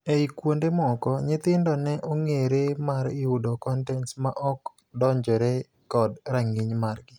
Ei kuonde moko, nyithindo ne ong'eere mar yudo kontents ma ok odonjore kod rang'iny margi.